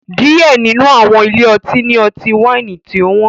Diẹ ninu awọn ile-ọti ni ọti-waini tí ọ wọn